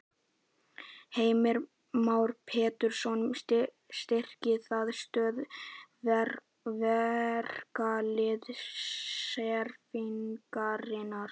Heimir Már Pétursson: Styrkir það stöðu verkalýðshreyfingarinnar?